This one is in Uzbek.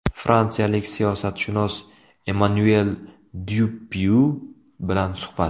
Fransiyalik siyosatshunos Emmanuel Dyupyui bilan suhbat.